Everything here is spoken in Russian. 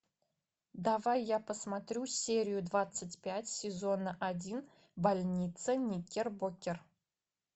давай я посмотрю серию двадцать пять сезона один больница никербокер